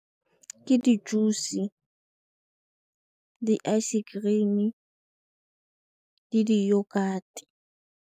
Ke di-juice, di-ice cream le di-yogurt.